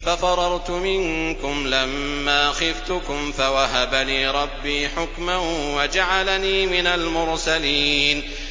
فَفَرَرْتُ مِنكُمْ لَمَّا خِفْتُكُمْ فَوَهَبَ لِي رَبِّي حُكْمًا وَجَعَلَنِي مِنَ الْمُرْسَلِينَ